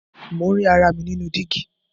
Mo ń rí ara mi nínú dígí.